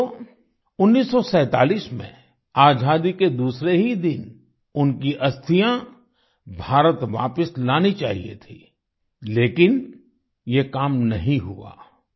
वैसे तो 1947 में आजादी के दूसरे ही दिन उनकी अस्थियां भारत वापिस लानी चाहिए थीं लेकिन ये काम नहीं हुआ